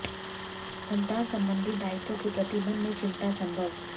संतान संबंधित दायित्वों के प्रति मन में चिंता संभव